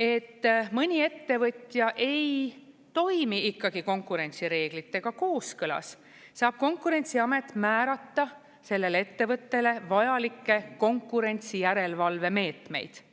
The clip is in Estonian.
et mõni ettevõtja ei toimi ikkagi konkurentsireeglitega kooskõlas, saab Konkurentsiamet määrata sellele ettevõttele vajalikke konkurentsijärelevalvemeetmeid.